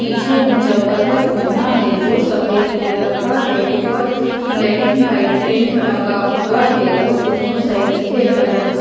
पीछे ऊंचा पर्वत बना है जो सफेद कलर का है ऊपर ब्लैक एंड व्हाइट टेंट लगा हुआ है और दोनों साइड नीले कलर का--